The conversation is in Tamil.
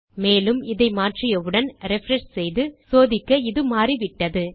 மேலும் இதை மாற்றியவுடன் ரிஃப்ரெஷ் செய்து சோதிக்க இது மாறிவிட்டது